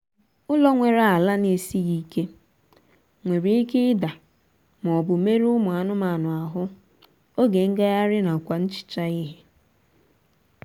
ụlọ nwere ala na-esịghị ike nwere ike ida maọbụ merụọ ụmụ anụmanụ ahụ oge ngagharị nakwa ihicha ihe